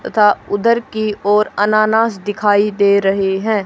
तथा उधर की ओर अनानास दिखाई दे रहे हैं।